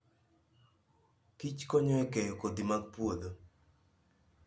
kichkonyo e keyo kodhi mag puodho.